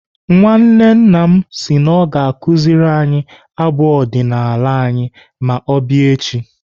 Nwanne nna m si na ọ ga-akụziri anyị abụ ọdịnaala anyị ma ọ bịa echi.